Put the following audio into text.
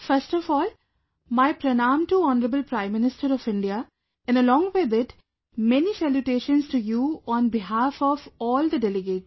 First of all, my Pranam to Honorable Prime Minister of India and along with it, many salutations to you on behalf of all the delegates